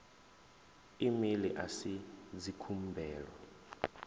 e mail a si dzikhumbelo